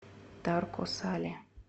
тарко сале